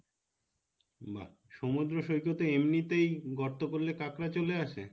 বাহ সমুদ্র সৈকতে এমনিতেই গর্ত করলে কাকড়া চলে আসে?